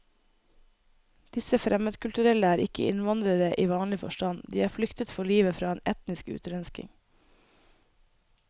Disse fremmedkulturelle er ikke innvandrere i vanlig forstand, de har flyktet for livet fra en etnisk utrenskning.